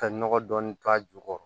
Ka nɔgɔ dɔɔni k'a ju kɔrɔ